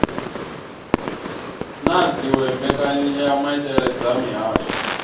na dziwe mbekanyamaitele dza mihasho